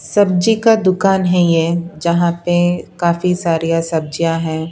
सब्जी का दुकान है ये जहां पे काफी सारी सब्जियां हैं।